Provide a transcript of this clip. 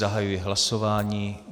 Zahajuji hlasování.